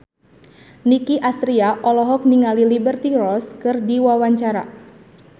Nicky Astria olohok ningali Liberty Ross keur diwawancara